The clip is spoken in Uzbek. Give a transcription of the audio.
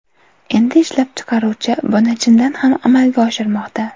Endi ishlab chiqaruvchi buni chindan ham amalga oshirmoqda.